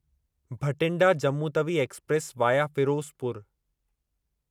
Bathinda Jammu Tawi express via Firozpur